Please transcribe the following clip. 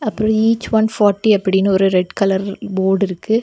அப்புற each one party அப்படின்னு ஒரு ரெட் கலர் போர்ட் இருக்கு.